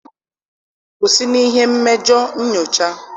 kwụsị n'ihe mmejọ nyocha.